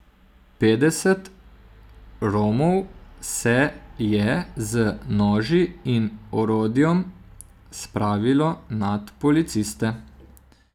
Petdeset Romov se je z noži in orodjem spravilo nad policiste.